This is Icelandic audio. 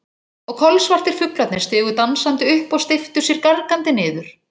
Og kolsvartir fuglarnir stigu dansandi upp og steyptu sér gargandi niður.